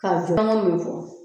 Ka jɔ fɛngɛ min bɛ fɔ